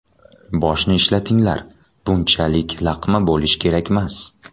Boshni ishlatinglar, bunchalik laqma bo‘lish kerakmas.